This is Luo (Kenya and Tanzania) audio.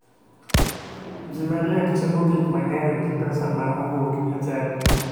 Ji mariek timo gik mang'eny gi pesa ma owuok e chadi